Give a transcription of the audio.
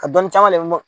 Ka dɔnni caman de bɔ